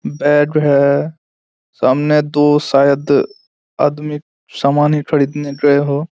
Bed है। सामने दो शायद आदमी सामाने खरीदने गए हो।